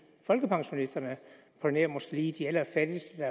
folkepensionisterne på nær måske lige de allerfattigste